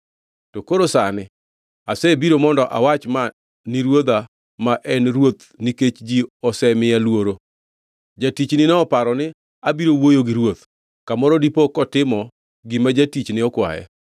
“To koro sani asebiro mondo awach ma ni ruodha ma en ruoth nikech ji osemiya luoro. Jatichni noparo ni, ‘Abiro wuoyo gi ruoth; kamoro dipo kotimo gima jatichne okwaye.